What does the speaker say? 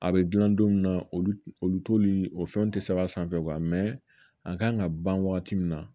A bɛ dilan don min na olu olu t'olu fɛnw tɛ sɛbɛn a sanfɛ a kan ka ban wagati min na